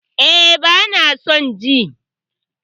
E, bana son ji